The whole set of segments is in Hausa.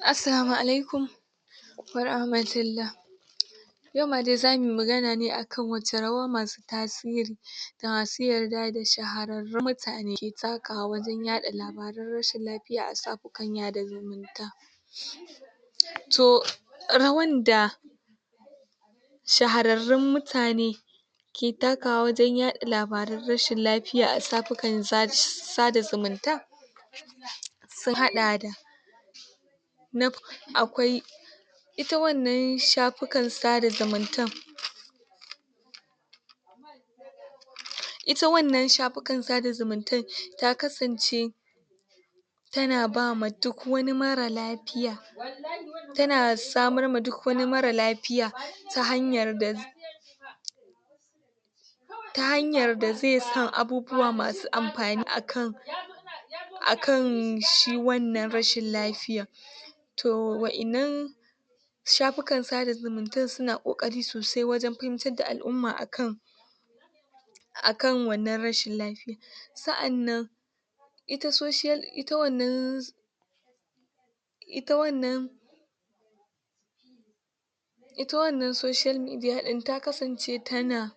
Assalamu alaikum warahmatullah Yauma dai za mu yi magana ne a kan wace rawa masu tasiri da masu yarda da shahararrun mutane ke takawa wajen yaɗa labarun rashin lafiya a shafukan sada zumunta to rawan da shararrub mutane ke takawa wajen yaɗa labarun rashin lafiya a shafukan sada zumunta sun haɗa da na farko akwai ita wannan shafukan sada zumuntan ita wannan shafukan sada zumuntan ta kasance tana ba ma duk wani mara lafya dtana samar ma duk wani marar lafiya ta hanyar da zai ta hanyar da zai san abubuwa masu amfani a kan, a kan shi wannan rashin lafiyar. to wa'innan shafukan sada zumuntan suna ƙoƙari sosai wajen fahimtar da al'umma a kan akan wannan rashin lafiyar sa'annan ita social ita wannan ita wannan ita wannan social media ɗin ta kasance tana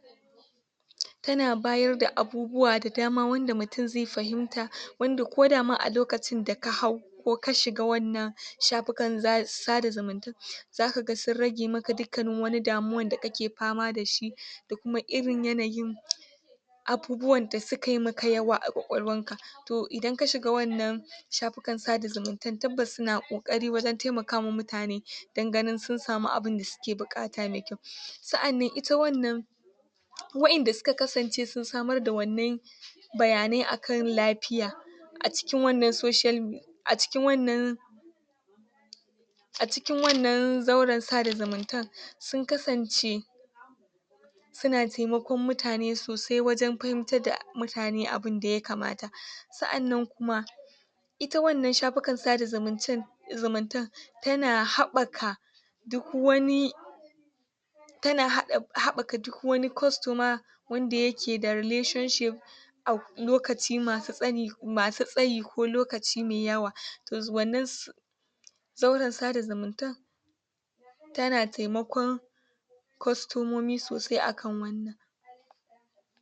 tana bayar da abubuwa da dama wanda mutum zai fahimta wanda ko da ma alokacin da ka hau ko ka shiga wannan shafukan sada zumuntan za ka ga sun rage maka dukkanin wani damuwan da kake fama da shi da kuma irin yanayin abubuwan da su ka yi maka yawa a ƙwaƙwalwanka. to idan ka shiga wannan shafukan sada zumuntan tabbas suna ƙoƙari wajen taimaka wa mutane danganin sun samu abin da suke buƙata mai kyau. sa'an nan ita wannan wa'inda suka kasance sun samar da wannan bayanai akan lafiya a cikin wannan social a cikin wannan a cikin wannan zauren sada zumuntan, sun kasance suna taimakon mutane sosai wajen fahimtar da mutane abin da ya kamata ita wannan shafukan sada zumuntan, zumuntan tana haɓaka duk wani tana haɓaka duk wani costumer wanda yake da relationship a lokaci masu tsayi ko lokaci mai yawa. To wannan zauren sada zumuntan tana taimakon kwastomomi sosai a kan wannan